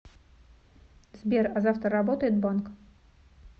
сбер а завтра работает банк